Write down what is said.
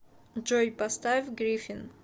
джой поставь гриффин